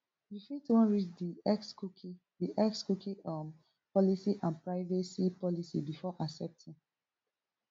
you fit wan read di X cookie di X cookie um policy and privacy policy before accepting